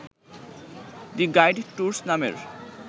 the guide tours নামের